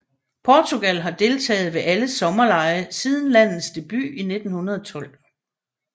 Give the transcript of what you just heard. Portugal har deltaget ved alle sommerlege siden landets debut i 1912